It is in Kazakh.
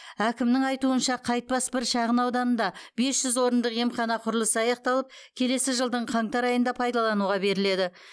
әкімнің айтуынша қайтпас бір шағын ауданында бес жүз орындық емхана құрылысы аяқталып келесі жылдың қаңтар айында пайдалануға беріледі